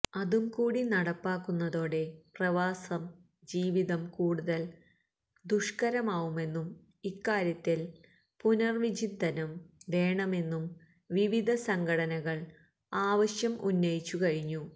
അതു കൂടി നടപ്പാക്കുന്നതോടെ പ്രവാസം ജീവിതം കൂടുതൽ ദുഷ്കരമാവുമെന്നും ഇക്കാര്യത്തിൽ പുനർവിചിന്തനം വേണമെന്നും വിവിധ സംഘടകൾ ആവശ്യം ഉന്നയിച്ചു കഴിഞ്ഞു